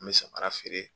N bɛ samara feere